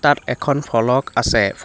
তাত এখন ফলক আছে ফ --